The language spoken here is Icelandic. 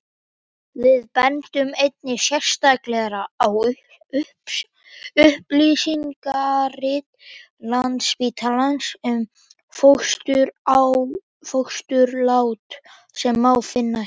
við bendum einnig sérstaklega á upplýsingarit landsspítalans um fósturlát sem má finna hér